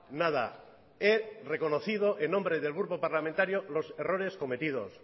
nada he reconocido en nombre del grupo parlamentario los errores cometidos